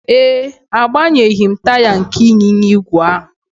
Ee e, agbanyeghị m taya nke ịnyịnya ígwè ahụ